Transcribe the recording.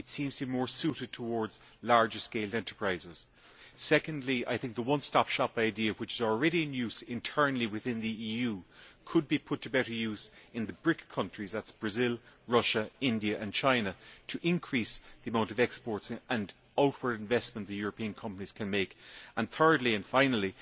It seems to be more suited to larger scale enterprises. Secondly, the one stop shop idea, which is already in use internally within the EU, could be put to better use in the BRIC countries that is Brazil, Russia, India and China to increase the amount of exports and outward investment that European companies can make. Thirdly and finally,